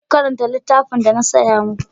Ku je ku karanta littafin da na saya mu ku!